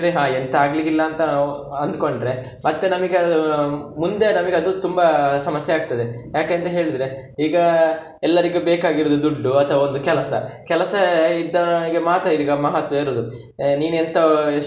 ಹಾ ಎಂತ ಆಗ್ಲಿಕ್ಕೆ ಇಲ್ಲ ಅಂತ ಅಂದ್ಕೊಂಡ್ರೆ, ಮತ್ತೆ ನಮಿಗೆ ಅದು ಮುಂದೆ ನಮಿಗೆ ಅದು ತುಂಬಾ ಸಮಸ್ಯೆ ಆಗ್ತದೆ, ಯಾಕೆಂತ ಹೇಳಿದ್ರೆ ಈಗ ಎಲ್ಲರಿಗೆ ಬೇಕಾಗಿರುದು ದುಡ್ಡು ಅಥವಾ ಒಂದು ಕೆಲಸ, ಕೆಲಸ ಇದ್ದವನಿಗೆ ಮಾತ್ರ ಈಗ ಮಹತ್ವ ಇರುದು ನೀನು ಎಂತ ಎಷ್ಟು.